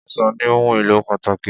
Ọsàn ní ohùn èlò pàtàkì.